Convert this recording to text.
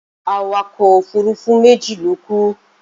Awakọ̀ òfurufú méjì ló kú.